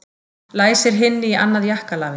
Læsir hinni í annað jakkalafið.